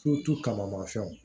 kama fɛnw